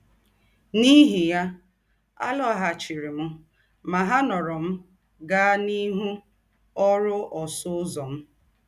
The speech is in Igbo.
N’íhì yà, àlòghàchìrì m Mahanoro mà gàá n’íhū n’ọ́rụ̀ ọ́sụ̀ Ǔzọ̄ m.